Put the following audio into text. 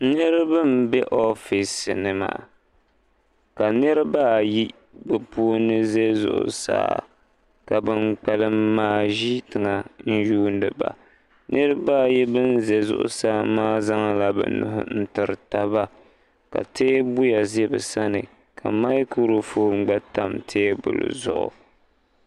niriba be ofiisi ni maa ka niriba ayi bɛ puuni ʒe zuɣusaa ka ban kpalim maa ʒi tiŋa n-yuuni ba niriba ayi ban ʒi zuɣusaa maa zaŋla bɛ nuhi n-tiri taba ka teebuya ʒe bɛ sani ka maaikuru foon gba tam teebuli zuɣu.